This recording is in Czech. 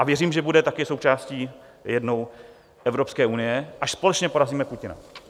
A věřím, že taky bude součástí jednou Evropské unie, až společně porazíme Putina.